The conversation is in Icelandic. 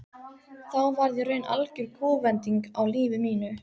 Þá varð í raun algjör kúvending á lífi mínu.